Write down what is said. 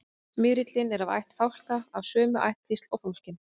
smyrillinn er af ætt fálka og af sömu ættkvísl og fálkinn